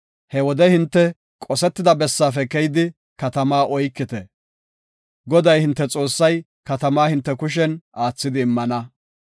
He wode hinte qosetida bessaafe keyidi katamaa oykite. Goday hinte Xoossay katamaa hinte kushen aathidi immana.